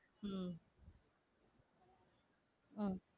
உம் உம்